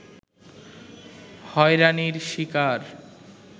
হয়রানির শিকার